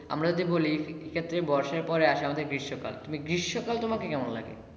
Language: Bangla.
আমরা যে বলি ক্ষেত্রে বর্ষার পরে আসে আমাদের গ্রীষ্ম কাল তুমি গ্রীষ্ম কাল তোমাকে কেমন লাগে?